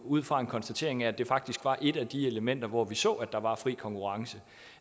ud fra en konstatering af at det faktisk var et af de elementer hvor vi så at der var fri konkurrence